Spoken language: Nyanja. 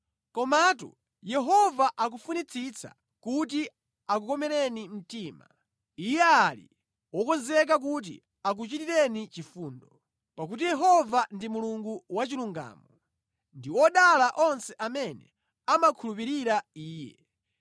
Komatu Yehova akufunitsitsa kuti akukomereni mtima, iye ali wokonzeka kuti akuchitireni chifundo. Pakuti Yehova ndi Mulungu wachilungamo. Ndi odala onse amene amakhulupirira Iye!